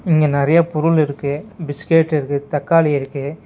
இங்க நெறைய பொருள் இருக்கு பிஸ்கட் இருக்கு தக்காளி இருக்கு.